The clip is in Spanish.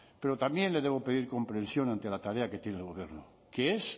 pero también le debo pedir comprensión ante la tarea que tiene el gobierno que es